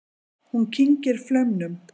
Hún kyngir flaumnum.